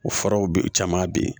O furaw bɛ caman bɛ yen